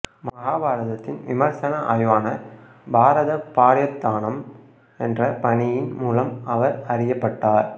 மகாபாரதத்தின் விமர்சன ஆய்வான பாரதபார்யதானம் என்ற பணியின் மூலம் அவர் அறியப்பட்டார்